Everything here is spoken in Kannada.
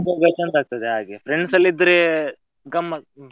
ಹೋಗುವಾಗ ಚಂದ ಆಗ್ತದೆ ಆಗೇ, friends ಎಲ್ಲ ಇದ್ರೆ ಗಮ್ಮತ್.